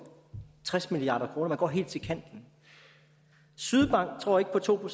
tres milliard kroner man går helt til kanten sydbank tror ikke på to